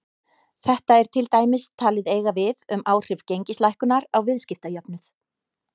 Þetta er til dæmis talið eiga við um áhrif gengislækkunar á viðskiptajöfnuð.